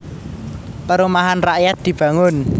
Perumahan rakyat dibangun